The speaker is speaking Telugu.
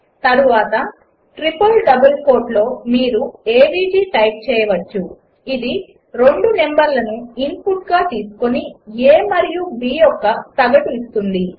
తర్వాత ట్రిపుల్ డబుల్ కోట్లో మీరు ఏవీజీ టైప్ చేయవచ్చు అది రెండు నంబర్లను ఇన్పుట్గా తీసుకుని a మరియు b యొక్క సగటును ఇస్తుంది